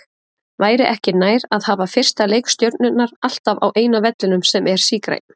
Væri ekki nær að hafa fyrsta leik Stjörnunnar alltaf á eina vellinum sem er sígrænn?